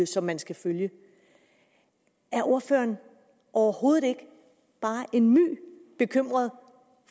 som man skal følge er ordføreren overhovedet ikke bare en µ bekymret